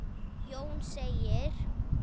Jón segir